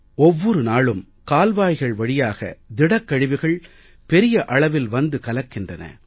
ஒவ்வொரு நாளும் கால்வாய்கள் வழியாக திடக் கழிவுகள் பெரிய அளவில் வந்து கலக்கின்றன